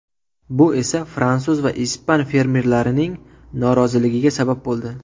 Bu esa fransuz va ispan fermerlarining noroziligiga sabab bo‘ldi.